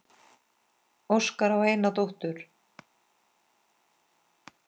Óskar á eina dóttur.